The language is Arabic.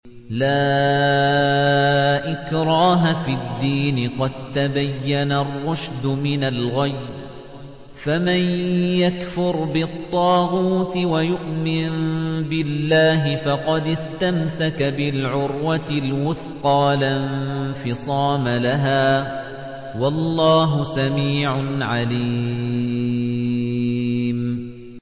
لَا إِكْرَاهَ فِي الدِّينِ ۖ قَد تَّبَيَّنَ الرُّشْدُ مِنَ الْغَيِّ ۚ فَمَن يَكْفُرْ بِالطَّاغُوتِ وَيُؤْمِن بِاللَّهِ فَقَدِ اسْتَمْسَكَ بِالْعُرْوَةِ الْوُثْقَىٰ لَا انفِصَامَ لَهَا ۗ وَاللَّهُ سَمِيعٌ عَلِيمٌ